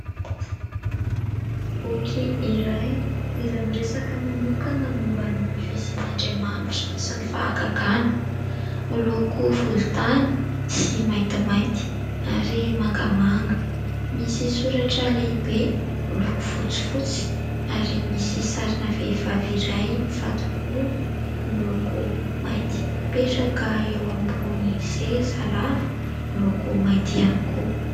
Boky iray izay miresaka manokana momba ny fisian'Andriamanitra sy ny fahagagàna, miloko volontany sy maintimainty ary mangamanga. Misy soratra lehibe miloko fotsifotsy ary misy sarina vehivavy iray mifato-bolo miloko mainty mipetraka eo ambony seza lava miloko mainty ihany koa.